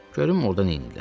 Görüm orda neyniyirlər.